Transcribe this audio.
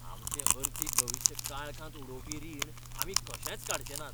आमचें अर्थीक भविश्य काळखांत उडोवपी रीण आमी कशेच काडचे नात!